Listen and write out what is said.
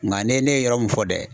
Nka ne ne ye yɔrɔ min fɔ dɛ